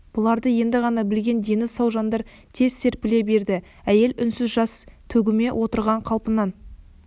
бұларды енді ғана білген дені сау жандар тез серпіле берді әйел үнсіз жас төгумен отырған қалпынан